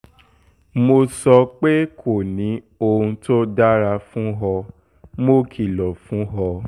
mo sọ pé kò ní ohun tó dára fún ọ mo kìlọ̀ fún ọ